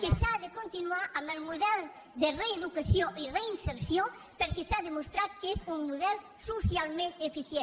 que s’ha de continuar amb el model de reeducació i reinserció perquè s’ha demostrat que és un model socialment eficient